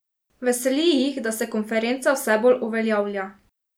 Veseli jih, da se konferenca vse bolj uveljavlja.